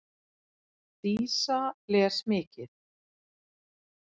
Dísa les mikið.